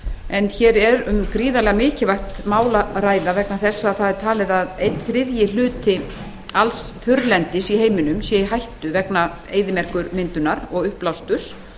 en hér er um gríðarlega mikilvægt mál að ræða vegna þess að það er talið að einn þriðji hluti alls þurrlendis í heiminum sé í hættu vegna eyðimerkurmyndunar og uppblásturs